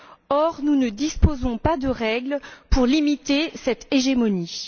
or, nous ne disposons pas de règles pour limiter cette hégémonie.